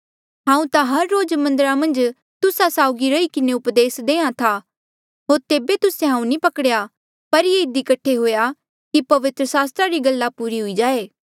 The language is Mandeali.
हांऊँ ता हर रोज मन्दरा मन्झ तुस्सा साउगी रही किन्हें उपदेस देहां था होर तेबे तुस्से हांऊँ नी पकड़ेया पर ये इधी कठे हुआ कि पवित्र सास्त्रा री गल्ला पूरी हुई जाए